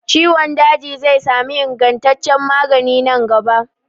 Ciwon daji zai sami ingantaccen magani nan gaba.